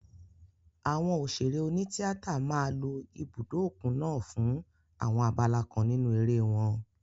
Àwọn òṣèré oní tíátà máa lo ibùdó òkun naa fún àwọn abala kan nínú eré wọn.